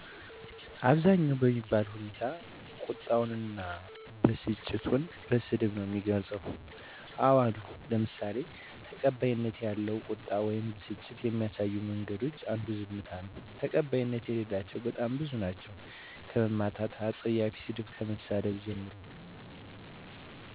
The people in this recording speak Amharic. አብዛኛው በሚባል ሁኔታ ቁጣውን እና በስጭቱን በስድብ ነው የሚገልፀው። አዎ አሉ ለምሳሌ ተቀባይነት ያለው ቁጣን ወይም በስጭትን ከሚያሳዩ መንገዶች አንዱ ዝምታ ነው። ተቀባይነት የሌላቸው በጣም ብዙ ናቸው ከመማታት አፀያፊ ሰድብ ከመሳደብ ጀምሮ።